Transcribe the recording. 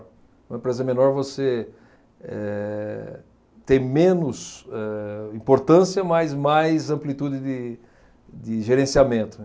Uma empresa menor, você eh, tem menos, eh, importância, mas mais amplitude de, de gerenciamento, né.